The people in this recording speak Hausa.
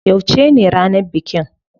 Yauce ne ranar bikin?